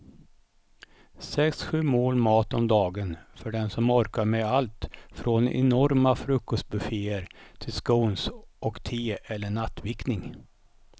Sex, sju mål mat om dagen för den som orkar med allt från enorma frukostbufféer till scones och te eller nattvickning.